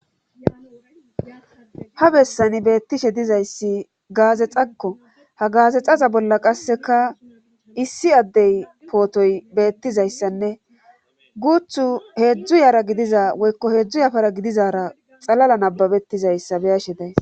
Ha bessani beettishe dizayssi gaazexakko ha gaazexaza bolla qasseka issi addey pootoy beettizayssanne guuthu heedzdzu yaara gidiza woykko heedzdzu yafara gidizara xalala nababettizayssa beyashe days.